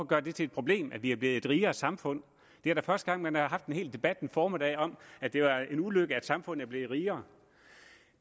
gøre det til et problem at vi er blevet et rigere samfund det er da første gang at man har haft en debat en hel formiddag om at det er en ulykke at samfundet er blevet rigere